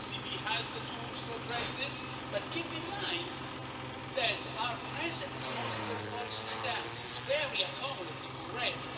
The ECB has the tools to address this but keep in mind that our present monetary policy stance is very accommodative already.